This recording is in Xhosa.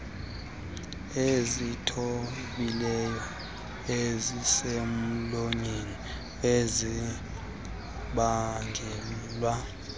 ezithambileyo ezisemlonyeni ezibangelwa